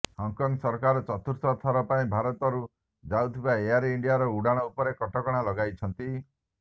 Hong Kong ସରକାର ଚତୁର୍ଥ ଥର ପାଇଁ ଭାରତରୁ ଯାଉଥିବା ଏୟାର ଇଣ୍ଡିଆର ଉଡାଣ ଉପରେ କଟକଣା ଲଗାଇଛନ୍ତି